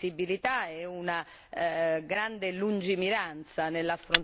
grande lungimiranza nell'affrontare una questione così delicata.